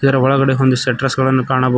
ಯ ಒಳಗಡೆ ಹೊಂದಿಸ್ ಸೆಟ್ರಸ್ ಗಳನ್ನು ಕಾಣಬಹುದು.